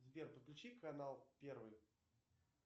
сбер подключи канал первый